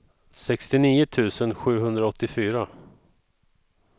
sextionio tusen sjuhundraåttiofyra